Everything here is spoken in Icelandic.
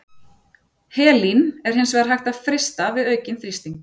Helín er hins vegar hægt að frysta við aukinn þrýsting.